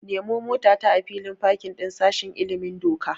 Nemo motata a filin fakin din sashen ilimin doka.